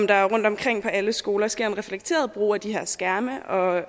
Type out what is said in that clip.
der rundtomkring på alle skoler skal ske en reflekteret brug af de her skærme og